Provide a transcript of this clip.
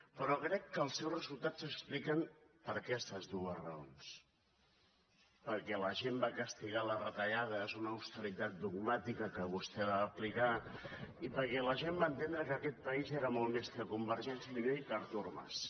però crec que els resultats s’expliquen per aquestes dues raons perquè la gent va castigar les retallades una austeritat dogmàtica que vostè va aplicar i perquè la gent va entendre que aquest país era molt més que convergència i unió i que artur mas